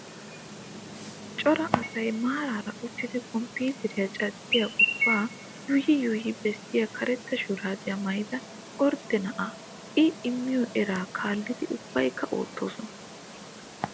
Cora asayi maaraara uttidi komppiteriyaa caddiyaa ubbaa yuuyyi yuuyyi bessiyaayi karetta shuraabiyaa maayyida ordde na'aa. I immiyoo eraa kaallidi ubbayikka oottoosona.